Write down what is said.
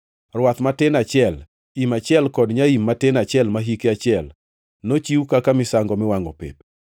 rwath matin achiel, im achiel kod nyaim matin achiel ma hike achiel, nochiw kaka misango miwangʼo pep;